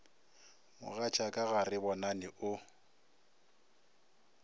mogatšaka ga re bonane o